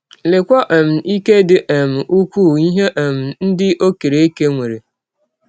Leekwa um ike dị um ụkwụụ ihe um ndị ọ kere eke nwere!